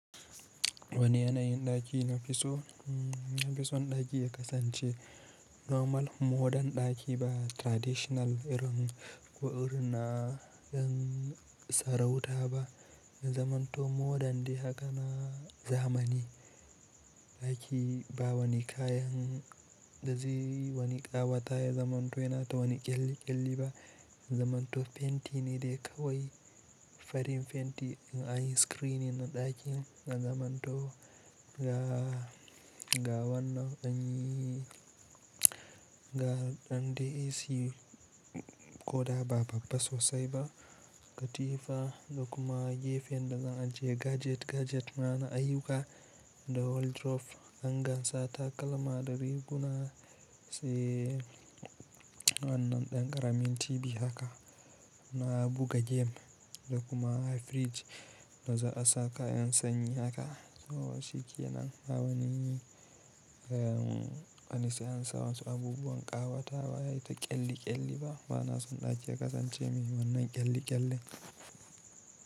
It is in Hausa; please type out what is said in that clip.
Wani yanayin ɗaki na fiso? Nafison ɗaki ya kasance normal, modern ɗaki ba traditional irin ko irin na yan sarauta ba. Zamanto modern daya haka na zamani ɗaki ba wani kayan da zai wani ƙawata ya zamanto yana ta wani ƙyalli ƙyalli ba. Zamanto fenti ne dai kawai, farin fenti na ayi screeding na ɗakin na zamanto ga wannan ɗan AC ko da ba babba sosai ba, katifa da kuma gefen da zan ajiye gadget gadget na na ayyuka, da wardrobe hanger sa takalma da riguna. Sai wannan ɗan ƙaramin TV haka na buga game da kuma fridge da za a sa kayan sanyi haka. To shiikenan ba wani se an sa wasu abubuwan ƙawatawa da ƙyalli ƙyalli ba. Bana son ɗaki ya kasance mai wannan ƙyalli ƙyalle.